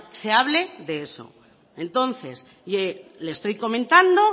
se hable de eso entonces le estoy comentando